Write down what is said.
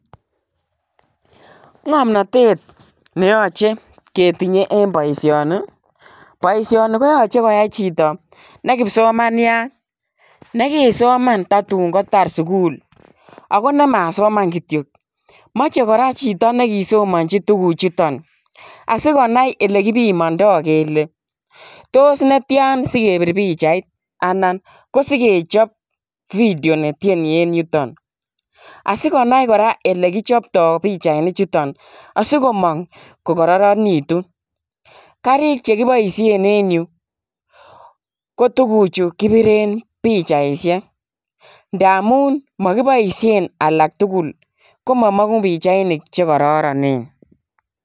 Ngamnatet neyachei ketinyei en boisioni boisioni ko yachei koyai chitoo ne kipsomaniat nekisomaan tatuun kotaar sugul ago ne masomaan kityoi machei kora chitoo nekisomanjii tuguuk chutoon asikonai ole kipimandai kele tos netyaan sigebiir pichait anan ko sigechaap video ne tyenii en yutoon asikonai kora ele kipchaptai pichainik chutoon asikomaang ko kororonwgituun kariig che kibaisheen en Yuu ii ko tuguchuu kibireen pichaisheek ndamuun makibaisheen alaak tugul koma manguu pichainik che kororoneen.